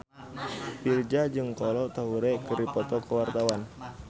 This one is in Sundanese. Virzha jeung Kolo Taure keur dipoto ku wartawan